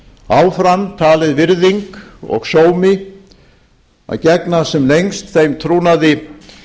áfram talið virðing og sómi að gegna sem lengst þeim trúnaði